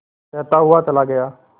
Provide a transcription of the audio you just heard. कहता हुआ चला गया